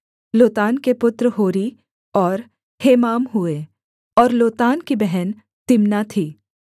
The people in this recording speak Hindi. लोतान के पुत्र होरी और हेमाम हुए और लोतान की बहन तिम्ना थी